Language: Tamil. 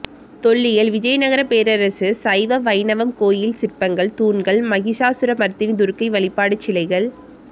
தொல்லியல் விஜயநகரப் பேரரசு சைவம் வைணவம் கோயில் சிற்பங்கள் தூண்கள் மகிஷாசுரமர்த்தினி துர்க்கை வழிபாடு சிலைகள்